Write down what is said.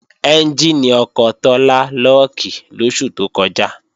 Ẹ́njìnì ọkọ̀ Tọ́lá lọ́ọ̀kì lóṣù tó kọjá